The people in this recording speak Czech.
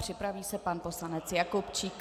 Připraví se pan poslanec Jakubčík.